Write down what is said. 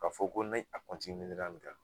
Ka fɔ ko ni a ni kan